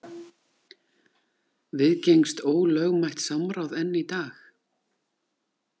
Viðgengst ólögmætt samráð enn í dag?